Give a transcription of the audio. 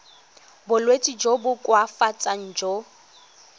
bolwetsi jo bo koafatsang jo